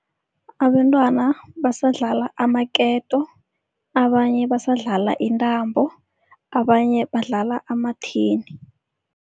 Abentwana basadlala amaketo, abanye basadlala intambo, abanye badlala amathini.